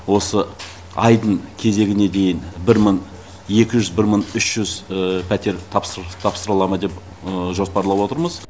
осы айдың кезегіне дейін бір мың екі жүз бір мың үш жүз пәтер тапсырыла ма деп жоспарлап отырмыз